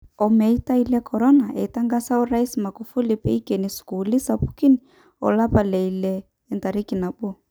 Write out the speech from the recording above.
Omeitai le Corona :Eitangasa Orais Magufuli peikeni sukulini sapikin olapa le ile entariki nabo